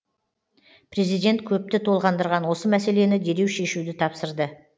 президент көпті толғандырған осы мәселені дереу шешуді тапсырды